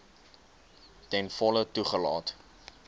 ten volle toegelaat